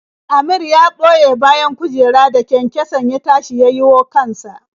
Amir ya ɓoye bayan kujera da kyankyason ya tashi ya yiwo kan sa.